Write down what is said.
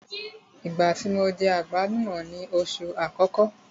Ìgbá tí mo jẹ àgbálùmọ́ ni oṣù àkọ́kọ́.